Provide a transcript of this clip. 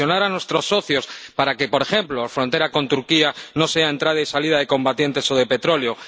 presionar a nuestros socios para que, por ejemplo, la frontera con Turquía no sea entrada y salida de combatientes o de petróleo